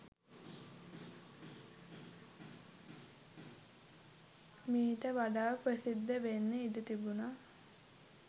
මීට වඩා ප්‍රසිද්ධ වෙන්න ඉඩ තිබුනා